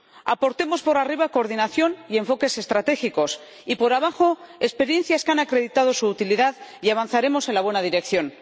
Aportemos por arriba coordinación y enfoques estratégicos, y, por abajo, experiencias que han acreditado su utilidad y avanzaremos en la buena dirección.